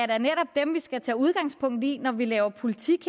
da netop er dem vi skal tage udgangspunkt i når vi laver politik